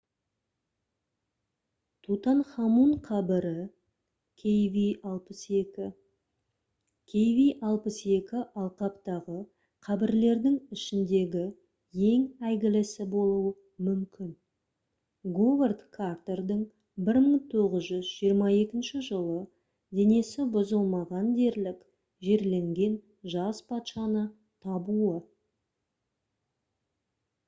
тутанхамун қабірі kv62. kv62 алқаптағы қабірлердің ішіндегі ең әйгілісі болуы мүмкін. говард картердің 1922 жылы денесі бұзылмаған дерлік жерленген жас патшаны табуы